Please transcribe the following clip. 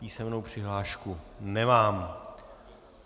Písemnou přihlášku nemám.